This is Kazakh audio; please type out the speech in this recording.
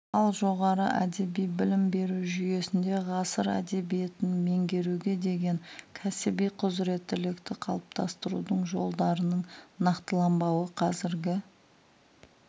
ал жоғары әдеби білім беру жүйесінде ғасыр әдебиетін меңгеруге деген кәсіби құзыреттілікті қалыптастырудың жолдарының нақтыланбауы қазіргі